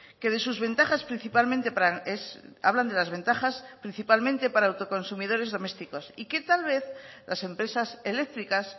que de sus ventajas principalmente hablan de las ventajas principalmente para autoconsumidores domésticos y que tal vez las empresas eléctricas